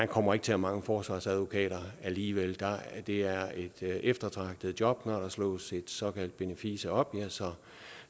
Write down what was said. kommer til at mangle forsvarsadvokater alligevel det er et eftertragtet job og slås et såkaldt benefice op